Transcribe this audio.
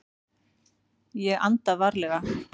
Ég anda varlega.